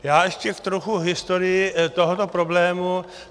Já ještě trochu k historii tohoto problému.